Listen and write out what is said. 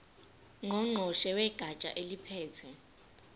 ngqongqoshe wegatsha eliphethe